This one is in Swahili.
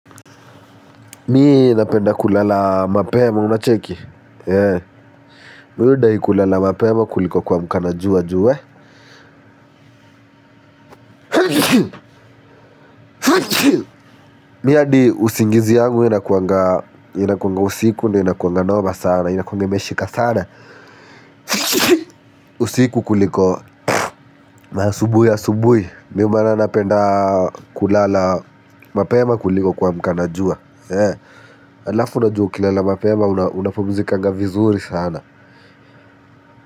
Mi inapenda kulala mapema, unacheki? Yee. Mwuda hikulala mapema kuliko kwa mkana juwa juwe. Mi ya di usingizi yangu inakuanga usiku, inakuanga noba sana, inakuanga meshika sana. Usiku kuliko asubuhi asubuhi. Mi umana napenda kulala mapema kuliko kwa mkana juwa. Yee. Alafu na juu kilala mapema, unapomuzika vizuri sana.